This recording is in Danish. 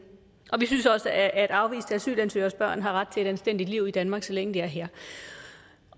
og vi synes også at afviste asylansøgeres børn har ret til et anstændigt liv i danmark så længe de er her